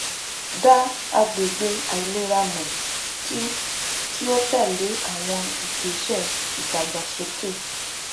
dá agbègbè àìlera mọ kí kí o tẹlé àwọn ìgbésẹ ìdàgbàsókè